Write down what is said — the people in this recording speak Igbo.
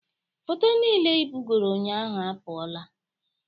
Foto niile ị bugoro ụnyaahụ apụọla